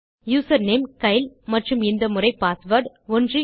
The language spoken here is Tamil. யூசர்நேம் கைல் மற்றும் இந்த முறை பாஸ்வேர்ட் 123